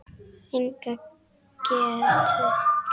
Enga getu.